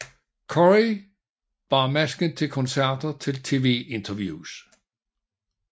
Corey bar masken til koncerter og til TV interviews